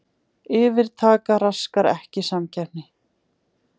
Yfirtaka raskar ekki samkeppni